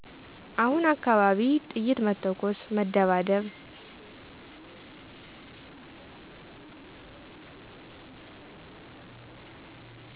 አሁነ አካባቢ ጥይት መተኮስ መደባደብ